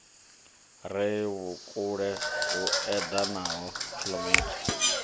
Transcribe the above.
re vhukule hu edanaho kilometere